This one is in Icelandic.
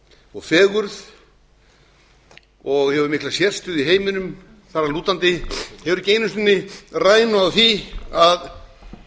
og fegurð og hefur mikla sérstöðu í heiminum þar að lútandi hefur ekki einu sinni rænu á því að